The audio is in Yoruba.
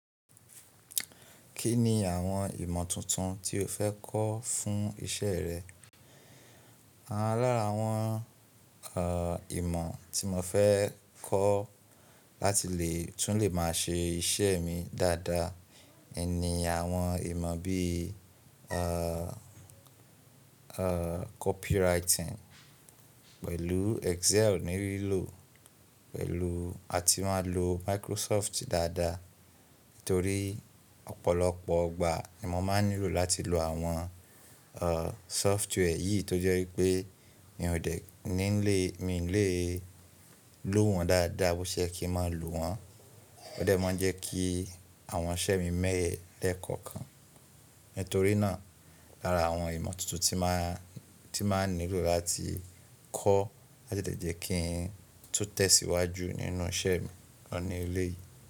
Kí ni àwọn ìmọ̀ tuntun tí o fẹ́ kọ́ fún iṣẹ́ rẹ? Lára àwọn, ìmọ̀ tí mo fẹ́ kọ́ láti lè tún lè máa ṣe iṣẹ́ mi dáadáa ni àwọn ìmọ̀ bí, copywriting pẹ̀lú Excel ní lílò, pẹ̀lú a ti máa lo Microsoft dáadáa. Nítorí ọ̀pọ̀lọpọ̀ ìgbà ni mo máa ń nílò láti lo àwọn, uh, software yìí tó jẹ́ wípé mi ò dé ní lè, mi lè lo wọ́n dáadáa bó ṣe ye kí ń máa lo wọ́n. Ó dẹ́ mọ́ jẹ́ kí àwọn iṣẹ́ mi mẹẹ lẹ́kọ̀ọ̀kan. Nítorí náà, lára àwọn ìmọ̀ tuntun tí máa, tí máa nílò láti kọ́ láti lè jẹ́ kí n tún tẹ̀síwájú nínú iṣẹ́ mi lọ ní ilé yìí.